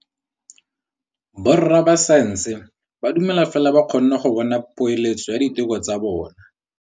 Borra saense ba dumela fela fa ba kgonne go bona poeletsô ya diteko tsa bone.